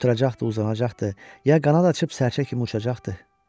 Oturacaqdı, uzanacaqdı, ya qanad açıb sərçə kimi uçacaqdı.